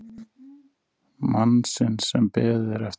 Mannsins sem beðið er eftir.